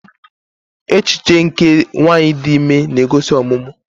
Echiche nke nwanyị dị ime na-egosi ọmụmụ.